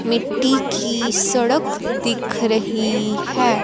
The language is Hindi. मिट्टी की सड़क दिख रही है।